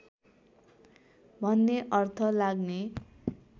भन्ने अर्थ लाग्ने